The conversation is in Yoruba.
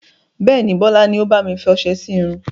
Bẹ́ẹ̀ni, Bọlá ni ó bami fi ọsẹ sì irun.